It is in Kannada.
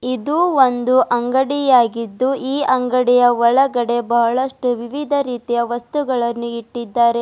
ಇದು ಒಂದು ಅಂಗಡಿಯಾಗಿದ್ದು ಈ ಅಂಗಡಿಯ ಒಳಗಡೆ ಬಹಳಷ್ಟು ವಿವಿಧ ರೀತಿಯ ವಸ್ತುಗಳನ್ನು ಇಟ್ಟಿದ್ದಾರೆ.